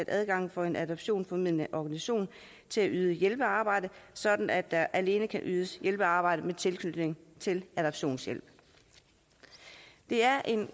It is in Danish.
adgangen for en adoptionsformidlende organisation til at yde hjælpearbejde sådan at der alene kan ydes hjælpearbejde med tilknytning til adoptionshjælp det er